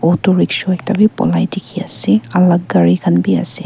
autorickshaw ekta bi polai dikhi ase alak gari khan bi ase.